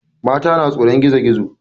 Mata na tsoron gizo gizo.